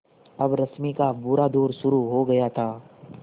अब रश्मि का बुरा दौर शुरू हो गया था